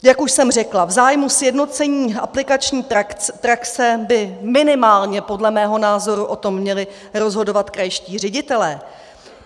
Jak už jsem řekla, v zájmu sjednocení aplikační praxe by minimálně podle mého názoru o tom měli rozhodovat krajští ředitelé.